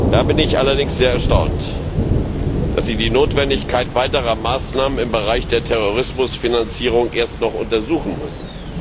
Da bin ich allerdings sehr erstaunt, dass Sie die Notwendigkeit weiterer Maßnahmen im Bereich der Terrorismusfinanzierung erst noch untersuchen müssen.